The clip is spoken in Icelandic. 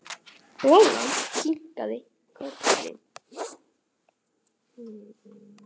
Lolla kinkaði kolli.